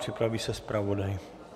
Připraví se zpravodaj.